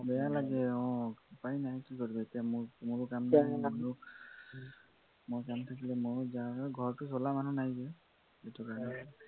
বেয়া লাগে অ উপায় নাই কি কৰিববি এতিয়া মোৰো কাম মই কাম থাকিলে মই যাওঁ ঘৰতো চলা মানুহ নাই যে সেইটো কাৰণে